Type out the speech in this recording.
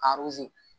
A